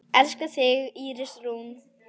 Elska þig, Íris Rún.